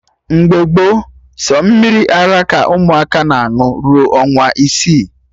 Mgbe gboo, sọ mmiri ara ka ụmụaka na aṅụ rue ọnwa isii